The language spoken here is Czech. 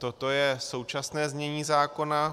Toto je současné znění zákona.